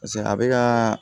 paseke a be kaa